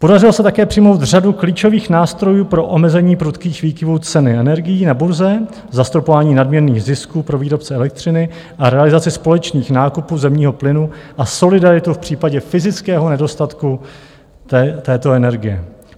Podařilo se také přijmout řadu klíčových nástrojů pro omezení prudkých výkyvů ceny energií na burze, zastropování nadměrných zisků pro výrobce elektřiny a realizaci společných nákupů zemního plynu a solidaritu v případě fyzického nedostatku této energie.